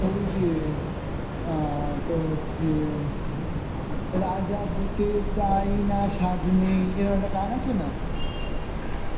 ওই যে অ্যাঁ তোর হচ্ছে রাজা হতে চাই না সাধ নেই এরাম একটা গান আছে না